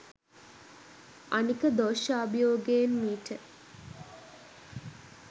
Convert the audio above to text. අනික දෝශාභියෝගයෙන් මීට